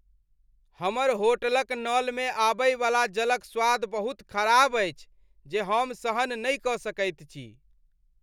हमर होटलक नलमे आबय वला जलक स्वाद बहुत ख़राब अछि जे हम सहन नहि सकैत छी।